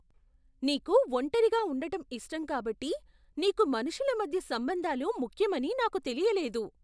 నీకు ఒంటరిగా ఉండటం ఇష్టం కాబట్టి నీకు మనుషుల మధ్య సంబంధాలు ముఖ్యమని నాకు తెలియలేదు.